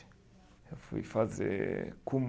Eu fui fazer